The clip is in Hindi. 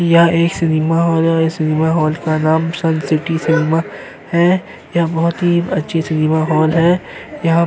यह एक सिनेमा हॉल है। सिनेमा हॉल का नाम सन सिटी सिनेमा है। यह बोहोत ही अच्छी सिनेमा हॉल है। यहाँ --